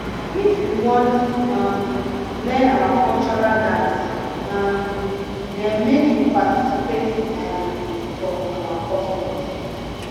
if you wan um learn our cultural dance um dem make you participate um for our custom